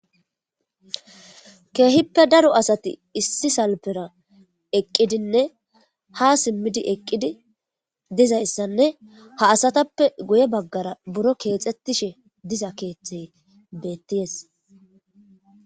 Keehippe daro asathi issi salppera eqqidinne haa simmidi eqqidi dizayssanne ha asathappe guye baggara buro keexeththishe diza keeththee beeththees.